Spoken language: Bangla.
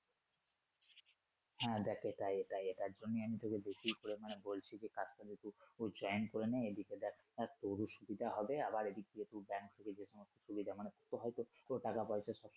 হ্যা দেখ এটাই এটাই এটার জন্যই আমি তোকে বেশি পরিমানে বলছি যে কাজটা তুই ওই plan করে না এদিকে দেখ তাহলে তোরও সুবিধা হবে আবার এদিক দিয়ে তুই ব্যাংক থেকে যে সমস্ত সুবিধা মানে তুই তো হয়তো তোরও টাকা পয়সার